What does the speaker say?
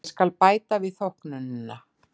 Ég skal bæta við þóknunina.